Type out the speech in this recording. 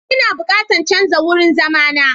Ina bukatan canza wurin zama na.